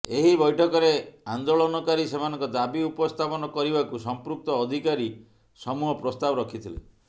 ଏହି ବୈଠକରେ ଆନେ୍ଦାଳନକାରୀ ସେମାନଙ୍କ ଦାବି ଉପସ୍ଥାପନ କରିବାକୁ ସମ୍ପୃକ୍ତ ଅଧିକାରୀ ସମୂହ ପ୍ରସ୍ତାବ ରଖିଥିଲେ